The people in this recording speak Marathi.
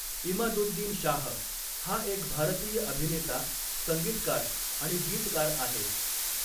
इमादुद्दीन शाह हा एक भारतीय अभिनेता, संगीतकार आणि गीतकार आहे.